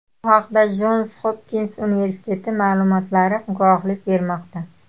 Bu haqda Jons Hopkins universiteti ma’lumotlari guvohlik bermoqda.